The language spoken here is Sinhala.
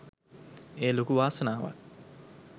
එය ලොකු වාසනාවක්